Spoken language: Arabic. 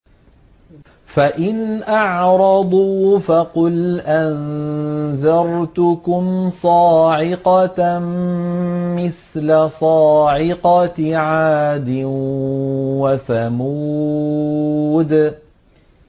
فَإِنْ أَعْرَضُوا فَقُلْ أَنذَرْتُكُمْ صَاعِقَةً مِّثْلَ صَاعِقَةِ عَادٍ وَثَمُودَ